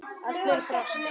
Allir brostu.